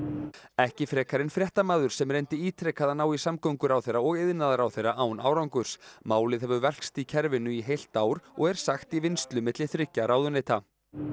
ekki frekar en fréttamaður sem reyndi ítrekað að ná í samgönguráðherra og iðnaðarráðherra án árangurs málið hefur velkst í kerfinu í heilt ár og er sagt í vinnslu milli þriggja ráðuneyta